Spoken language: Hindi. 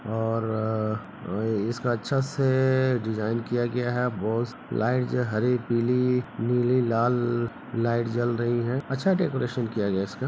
और अ इसका अच्छा से डिजाइन किया गया है वो लाइट जो है हरी पीली नीली लाल लाइट जल रही है अच्छा डेकोरेशन किया गया है इसका।